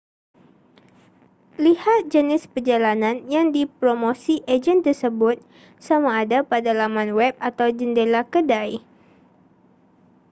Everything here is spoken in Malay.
lihat jenis perjalanan yang dipromosi ejen tersebut sama ada pada laman web atau jendela kedai